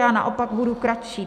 Já naopak budu kratší.